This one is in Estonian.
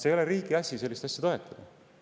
Ei ole riigi asi sellist asja toetada.